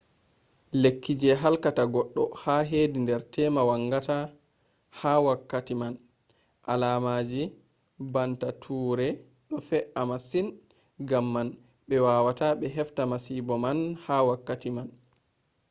lekki je halkata goddo hedi nder tema vangata ha wakkati man. alaamaji banta ture do fe,’a masin gamman be wawata be hefta masibo man ha wakkati man